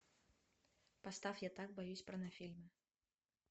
поставь я так боюсь порнофильмы